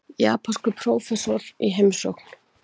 Japanskur prófessor í heimsókn.